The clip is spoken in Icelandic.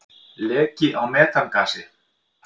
Leki á metangasi.